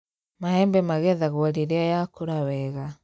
Maembe magethagwo rĩrĩa yakũra wega